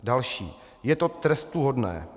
Další: "Je to trestuhodné.